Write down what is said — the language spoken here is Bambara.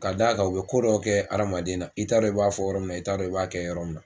ka d'a kan u be ko dɔ kɛ adamaden na i t'a dɔn i b'a fɔ yɔrɔ min na i t'a dɔn i b'a kɛ yɔrɔ min na